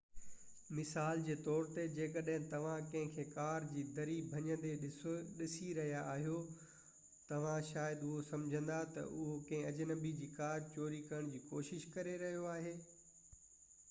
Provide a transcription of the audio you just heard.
مثال جي طور تي جيڪڏهن توهان ڪنهن کي ڪار جي دري ڀڃيندي ڏسي رهيا آهيو توهان شايد اهو سمجهندا ته هو ڪنهن اجنبي جي ڪار چوري ڪرڻ جي ڪوشش ڪري رهيو آهي